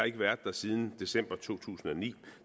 ikke været siden december to tusind og ni